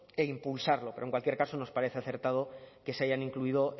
e impulsarlo pero en cualquier caso nos parece acertado que se hayan incluido